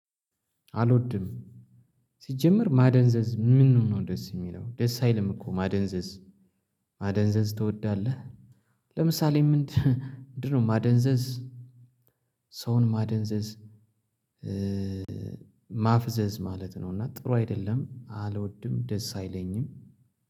አልወድም። ሲጀመር ማደንዘዝ ምኑ ነው ደስ የሚለው ደስ አይልም እኮ ማደንዘዝ ማደንዘዝ ትወዳለህ? ለምሳሌ ምንድነው ማደንዘዝ? ሰውን ማደንዘዝ ማፍዘዝ ማለት ነው። እና ጥሩ አይደለም አልወድም። ደስ አይለኝም።